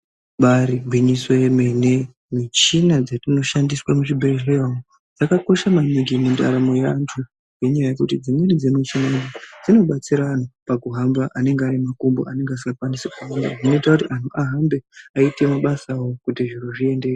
Ibaari gwinyiso yemene, michina dzetinoshandiswe muzvibhedhlera umo, dzakakosha maningi mundaramo yeantu, ngenyaya yekuti dzimweni dzemichini dzinobatsira anhu pakuhamba anenge ane makumbo asingakwanisi kuhamba. Zvinoita kuti anhu ahambe eiitawo mabasa awo, kuti zviro zviendeke.